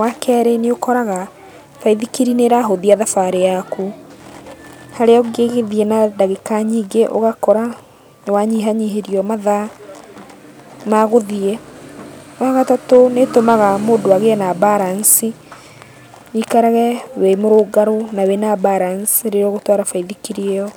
Wakerĩ nĩũkoraga baithikiri nĩĩrahũthia thabarĩ yaku. Harĩa ũngĩgĩthiĩ na ndagĩka nyingĩ, ũgakora nĩwanyihanyihĩrio mathaa ma gũthiĩ. Wagatatũ nĩĩtũmaga mũndũ agĩe na mbaranici, wĩikarage wĩ mũrũngarũ na wĩna balance rĩrĩa ũgũtwara baithikiri ĩyo.